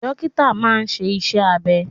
Dókítà máa ń ṣe iṣẹ́ abẹ.